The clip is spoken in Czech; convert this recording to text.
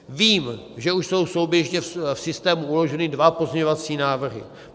Vím, že už jsou souběžně v systému uloženy dva pozměňovací návrhy.